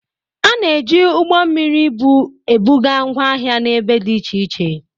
A na-eji ụgbọ mmiri ibu ebuga ngwa ahịa n'ebe dị iche iche.